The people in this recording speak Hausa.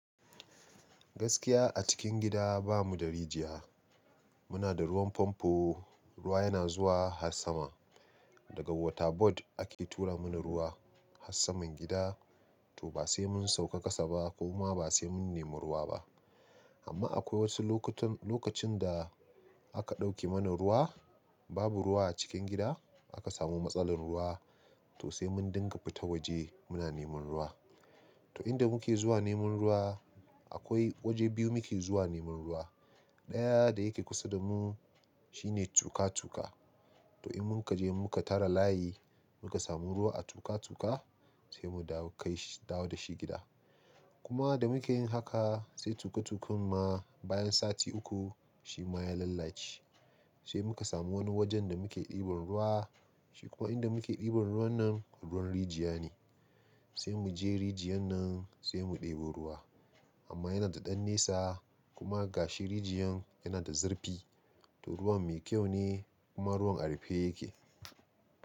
Gaskiya a cikin gida bamu da rijiya. Muna da ruwan famfo, ruwa yana zuwa har sama. Daga water board ake tura mana ruwa har saman gida. To ba sai mun sauka kasa ba ko ma ba sai mun nemi ruwa ba. Amma akwai wasu lokutan-lokacin da aka ɗauke mana ruwa, babu ruwa a cikin gida, aka samu matsalin ruwa, to sai mun dinga fita waje muna neman ruwa. To in da muke zuwa neman ruwa, akwai waje biyu muke zuwa neman ruwa. Ɗaya da yake kusa da mu shine tuka tuka. To in mun kaje muka tara layi muka samu ruwa a tuka tuka sai mu dawo kai shi dawo da shi gida. Kuma da muke yin haka sai tuka tukin ma bayan sati uku shi ma ya lalace. Sai muka samu wani wajen da muke ɗiban ruwa. Shi kuwa in da muke ɗiban ruwan nan ruwan rijiya ne. Sai mu je rijiyan nan sai mu ɗebo ruwa. Amma yana da ɗan nisa kuma gashi rijiyan yana da zurfi. To ruwan mai kyau ne kuma ruwan a rufe yake.